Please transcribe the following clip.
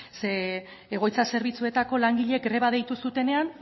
zeren egoitza zerbitzuetako langileek greba deitu zutenean